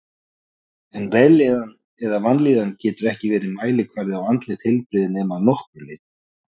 En vellíðan eða vanlíðan getur ekki verið mælikvarði á andlegt heilbrigði nema að nokkru leyti.